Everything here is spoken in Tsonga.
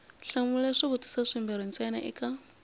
hlamula swivutiso swimbirhi ntsena eka